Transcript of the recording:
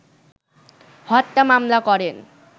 হত্যা মামলা করেন